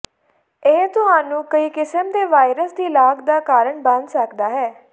ਇਹ ਤੁਹਾਨੂੰ ਕਈ ਕਿਸਮ ਦੇ ਵਾਇਰਸ ਦੀ ਲਾਗ ਦਾ ਕਾਰਨ ਬਣ ਸਕਦਾ ਹੈ